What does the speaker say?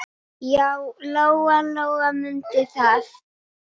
Já, Lóa-Lóa mundi það.